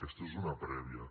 aquesta és una prèvia